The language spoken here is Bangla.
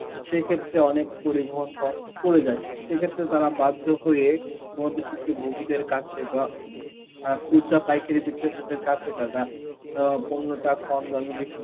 সেই ক্ষেত্রে অনেক পরিবহন cost পরে যাচ্ছে, সেই ক্ষেত্রে তারা বাধ্য হয়ে মধ্যসিক্ত ভোগীদের কাছে বা আ খুচা পাইকারি বিক্রেতাদের কাছে তারা অ্যাঁ পণ্যটা কম দামে বিক্রি